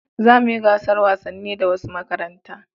Za mu yi gasan wasanni da wasu makaranta